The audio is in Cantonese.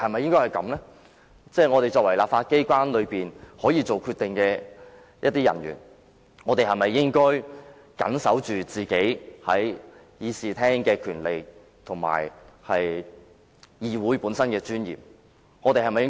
身為在立法機關內可以作決定的人，我們是否應該堅守我們在議事廳內的權利及議會的尊嚴呢？